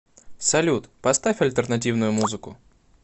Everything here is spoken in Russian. салют поставь альтернативную музыку